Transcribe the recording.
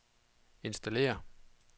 installere